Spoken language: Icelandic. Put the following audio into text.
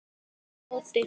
spyr Edda á móti.